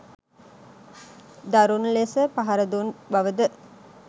දරුණු ලෙස පහර දුන් බවද